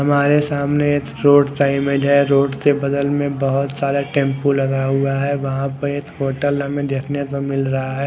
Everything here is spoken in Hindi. हमारे सामने एक रोड का इमेज है रोड के बगल में बहोत सारा टेम्पू लगा हुआ है वहा पर होटल हमे देखने को मिल रहा है।